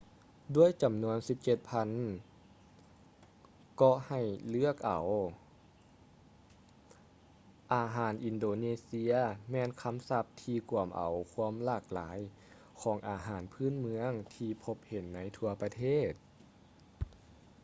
ດ້ວຍຈຳນວນ 17,000 ເກາະໃຫ້ເລືອກເອົາ ອາຫານອິນໂດເນເຊຍແມ່ນຄຳສັບທີ່ກວມເອົາຄວາມຫຼາກຫຼາຍຂອງອາຫານພື້ນເມືອງທີ່ພົບເຫັນໃນທົ່ວປະເທດ